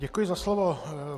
Děkuji za slovo.